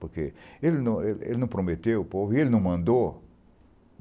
Porque ele não ele não prometeu ao povo e ele não mandou.